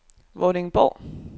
Vordingborg